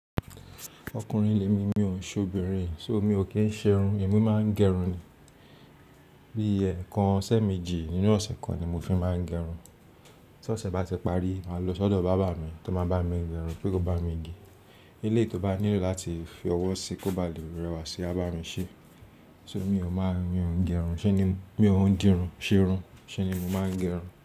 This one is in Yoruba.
Ọkùnrin lèmi mi òun ṣòbìnrin so mi ò kí ń ṣe irun, èmi máa ń gẹrun ni. Bí ẹ̀ẹ̀kan sẹ́ méjì nínú ọ̀sẹ̀ kan ni mo fi máa ń gẹrun. Tí ọ̀sẹ̀ bá ti parí, máa lọ sọ́dọ̀ bábà mi tó máa bá mi gẹrun pé kó bá mi gé. Eleyi tó bá nílò láti fi ọwọ́ sí kó bá lè rẹwà sí a bá mi ṣe. To ri mi ò máa ń gẹrun? Ṣé ni mi ò ń dirun, ṣe irun? Ṣé ni mo máa ń gẹrun?